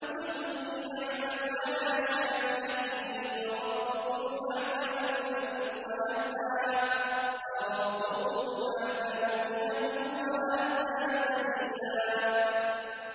قُلْ كُلٌّ يَعْمَلُ عَلَىٰ شَاكِلَتِهِ فَرَبُّكُمْ أَعْلَمُ بِمَنْ هُوَ أَهْدَىٰ سَبِيلًا